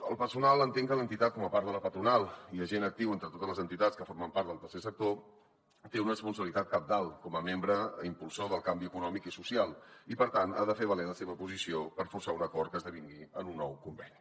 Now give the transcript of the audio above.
el personal entenc que l’entitat com a part de la patronal i agent actiu entre totes les entitats que formen part del tercer sector té una responsabilitat cabdal com a membre impulsor del canvi econòmic i social i per tant ha de fer valer la seva posició per forçar un acord que esdevingui en un nou conveni